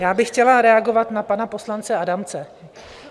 Já bych chtěla reagovat na pana poslance Adamce.